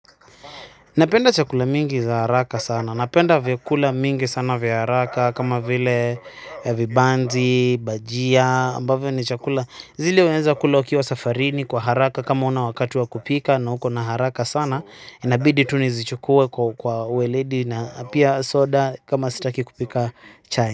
Napenda chakula mingi za haraka sana. Napenda vyakula mingi sana vya haraka kama vile vibanzi, bajia ambavyo ni chakula. Zile unaeza kula ukiwa safarini kwa haraka kama huna wakati wa kupika na uko na haraka sana. Nabidi tu nizichukue kwa uweledi na pia soda kama sitaki kupika chai.